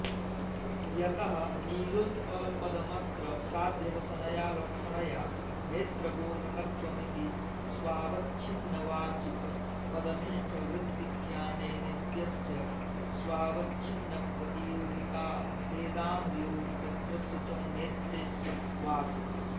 यतः नीलोत्पलपदमत्र साध्यवसनया लक्षणया नेत्रबोधकत्वमिति स्वावच्छिन्नवाचकपदनिष्ठवृत्तिज्ञानेनेत्यस्य स्वावच्छिन्नप्रतियोगिकाभेदानुयोगिकत्वस्य च नेत्रे सत्त्वात्